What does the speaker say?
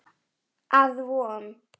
Af Von